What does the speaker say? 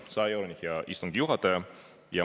100 euroni, hea istungi juhataja!